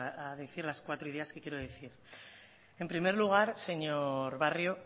a decir las cuatro ideas que quiero decir en primer lugar señor barrio